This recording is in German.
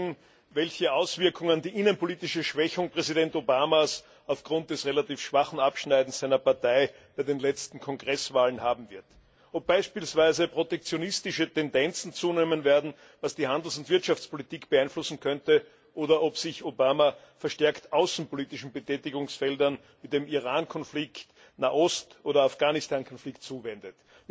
die nächsten Monate werden zeigen, welche Auswirkungen die innenpolitische Schwächung Präsident Obamas aufgrund des relativ schwachen Abschneidens seiner Partei bei den letzten Kongresswahlen haben wird. Ob beispielsweise protektionistische Tendenzen zunehmen werden, was die Handels und Wirtschaftspolitik beeinflussen könnte, oder ob sich Obama verstärkt außenpolitischen Betätigungsfeldern wie dem Iran Konflikt, Nahost oder dem Afghanistan Konflikt zuwendet.